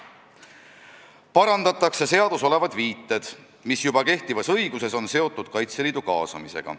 Parandatakse seaduses olevad viited, mis juba kehtivas õiguses on seotud Kaitseliidu kaasamisega.